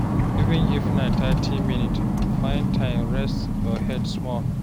Even if na thirty minutes, find time rest your head small.